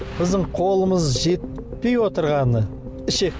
біздің қолымыз жетпей отырғаны ішек